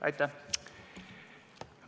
Aitäh!